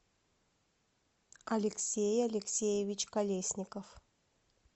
алексей алексеевич колесников